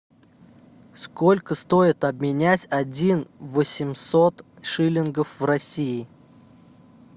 сколько стоит обменять один восемьсот шиллингов в россии